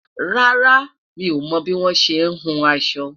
rárá, mí ọmọ bi wọn ṣẹ hùn aṣọ